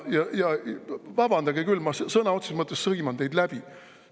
Ja vabandage, ma sõna otseses mõttes sõiman teid läbi.